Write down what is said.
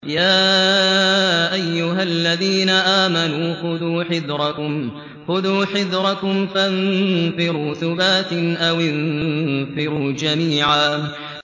يَا أَيُّهَا الَّذِينَ آمَنُوا خُذُوا حِذْرَكُمْ فَانفِرُوا ثُبَاتٍ أَوِ انفِرُوا جَمِيعًا